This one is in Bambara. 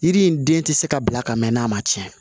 Yiri in den tɛ se ka bila ka mɛn n'a ma tiɲɛ